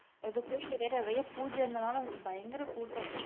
அந்தக் கோயில்ல வேற நிறைய பூஜ இருந்தனால பயங்கர கூட்டம்.